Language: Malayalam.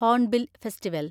hornbill festival